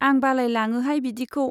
आं बालाय लाङोहाय बिदिखौ।